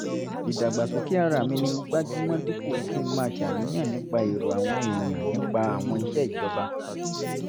ìdàgbàsókè ara mi ni mo gbájú mọ́ dípò kí n máa ṣàníyàn nípa èrò àwọn èèyàn nípa àwọn iṣẹ́ ìjọba